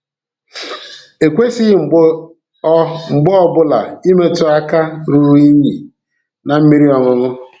E kwesịghị mgbe ọ mgbe ọ bụla imetụ aka ruru unyi na mmiri ọṅụṅụ.